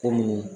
Kɔmi